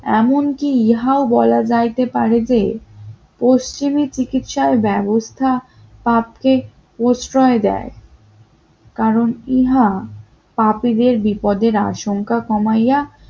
এমনকি ইহাও বলা যাইতে পারবে পশ্চিমে চিকিৎসার ব্যবস্থা পাপকে প্রশ্রয় দেয় কারণ ইহা পাপীদের বিপদের আশঙ্কা কমাইয়া